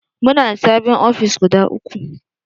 Muna da sabin ofis guda uku